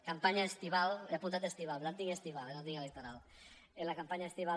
campanya estival he apuntat estival per tant tinc estival eh no tinc electoral en la campanya estival